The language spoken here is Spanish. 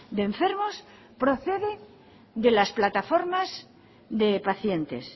de enfermos procede de las plataformas de pacientes